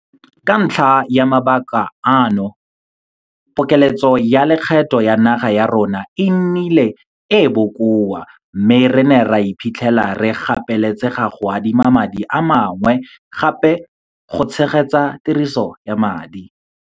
Ka ntlha ya mabaka ano, pokeletso ya lekgetho la naga ya rona e nnile e e bokoa mme re ne ra iphitlhela re gapeletsega go adima madi a mangwe gape go tshegetsa tiriso ya madi